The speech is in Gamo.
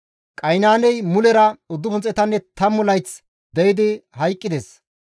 Qaynaaney mulera 910 layth de7idi hayqqides.